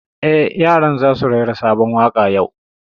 Eh, yaran za su rera sabon waƙa yau